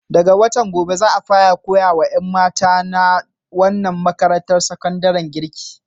Daga watan gobe za a fara koya wa ƴan mata na wannan makarantar sakandaren girki.